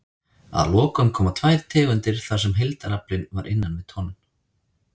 Að lokum koma tvær tegundir þar sem heildaraflinn var innan við tonn.